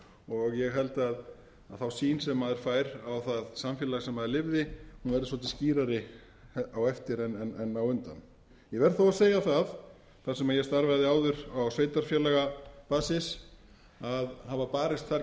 og ég held að sú sýn sem maður fær á það samfélag sem maður lifði verði svolítið skýrari á eftir en á undan ég verð þó að segja það þar sem ég starfaði áður á sveitarfélagabasis að hafa barist þar